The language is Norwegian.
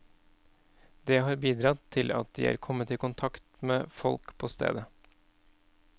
Det har bidradd til at de er kommet i kontakt med folk på stedet.